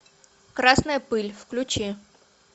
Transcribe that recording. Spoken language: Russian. красная пыль включи